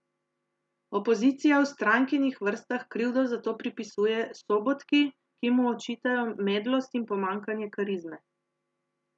Opozicija v strankinih vrstah krivdo za to pripisuje Sobotki, ki mu očitajo medlost in pomanjkanje karizme.